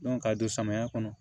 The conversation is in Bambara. ka don samaya kɔnɔ